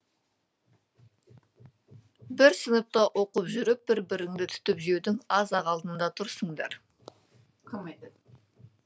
бір сыныпта оқып жүріп бір біріңді түтіп жеудің аз ақ алдында тұрсыңдар